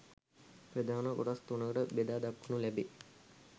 ප්‍රධාන කොටස් තුනකට බෙදා දක්වනු ලැබේ.